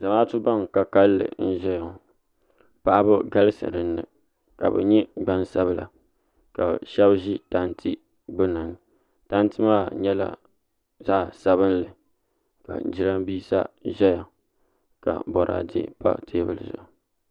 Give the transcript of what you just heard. Zamaatu ban ka kalinli n ʒɛya ŋo paɣaba galisi dinni ka bi nyɛ gbansabila ka shab ʒi tanti gbunni tanti maa nyɛla zaɣ sabinli ka jiranbiisa ʒɛya ka boraadɛ pa teebulu zuɣu